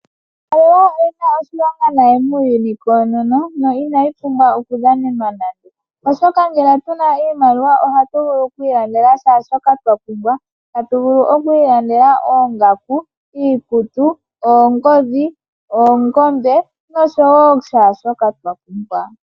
Iimaliwa oyina oshilonga nayi muuyuni koonono no inayi pumbwa oku dhanenwa nando , oshoka ngele tuna iimaliwa ohatu vulu okwiilandela shaa shoka twa pumbwa . Tatu vulu okwiilandela oongaku, iikutu, oongodhi, oomgombe no sho woò shaa shoka twapumbwa.